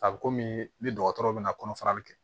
A bɛ komi ni dɔgɔtɔrɔw bɛna kɔnɔfarali kɛ